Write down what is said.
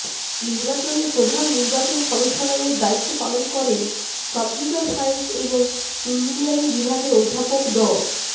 নির্বাচনে প্রধান নির্বাচন কমিশনারের দায়িত্ব পালন করেন কম্পিউটার সায়েন্স এবং ইঞ্জিনিয়ারিং বিভাগের অধ্যাপক ড